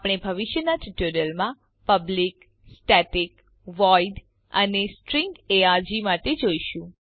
આપણે ભવિષ્યના ટ્યુટોરીયલ માં પબ્લિક સ્ટેટિક વોઇડ અને સ્ટ્રીંગ આર્ગ માટે જોઈશું